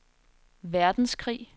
verdenskrig